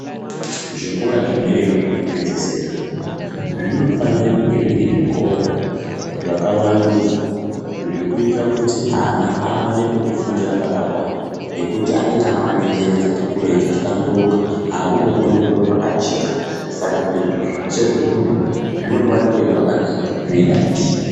Zvikora zvederayo zveku pedzisira, zvinofanira kunge zviri zvikora zvakava ndudzwa zvekuitira kuti ana awane pekufundira pakakwana ngekuti anenge avane njere dzati kurei dzaka hlamburuka, aakude kuona zviro zvakajeka saka kuti zvirozvo zveshe zvibude zvinofanira kunge zvakanaka zveidadisa.